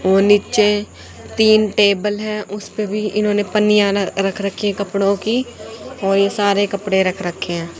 और नीचे तीन टेबल है उसपे भी इन्होंने पन्नियां रख रखी है कपड़ोंकी वही सारे कपड़े रख रखे हैं।